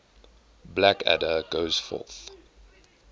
blackadder goes forth